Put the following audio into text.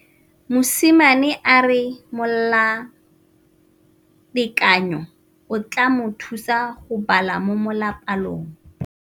Mosimane a re molatekanyô o tla mo thusa go bala mo molapalong.